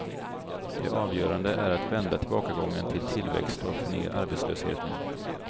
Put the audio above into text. Det avgörande är att vända tillbakagången till tillväxt och att få ner arbetslösheten.